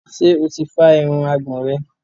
Ṣo ti fá irun àgbọ̀n rẹ̀?